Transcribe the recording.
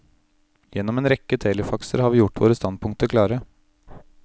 Gjennom en rekke telefaxer har vi gjort våre standpunkter klare.